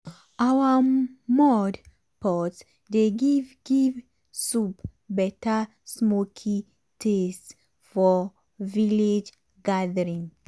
our mud pot dey give give soup better smoky taste for village gathering.